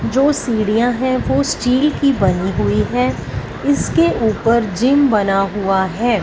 जो सीढ़ियां है वो स्टील की बनी हुई है इसके ऊपर जिम बना हुआ है।